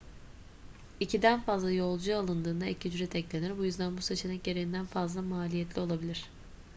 i̇kiden fazla yolcu alındığında ek ücret eklenir. bu yüzden bu seçenek gereğinden fazla maliyetli olabilir